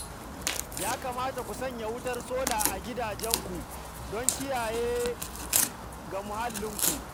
Ya kamata ku sanya wutar sola a gidajenku don kariya ga muhallinku